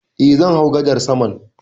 Eh, zan hau gadar saman